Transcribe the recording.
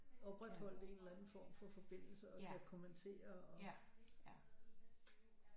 Opretholdt en eller anden form for forbindelse og skal kommentere og